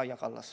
Kaja Kallas.